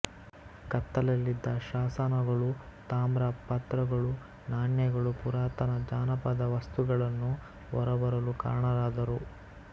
ಕತ್ತಲಲ್ಲಿದ್ದ ಶಾಸನಗಳು ತಾಮ್ರ ಪತ್ರಗಳು ನಾಣ್ಯಗಳು ಪುರಾತನ ಜಾನಪದ ವಸ್ತುಗಳನ್ನು ಹೊರಬರಲು ಕಾರಣರಾದರು